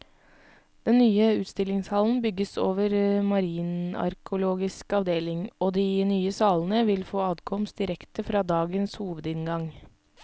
Den nye utstillingshallen bygges over marinarkeologisk avdeling, og de nye salene vil få adkomst direkte fra dagens hovedinngang.